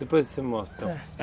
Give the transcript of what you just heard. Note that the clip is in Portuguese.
Depois você mostra, então